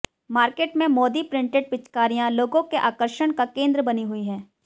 market में Modi printed पिचकारियां लोगों के आकर्षण का केंद्र बनी हुई हैं